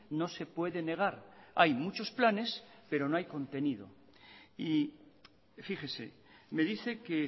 no se puede negar hay muchos planes pero no hay contenido y fíjese me dice que